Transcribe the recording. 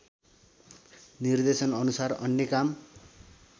निर्देशनअनुसार अन्य काम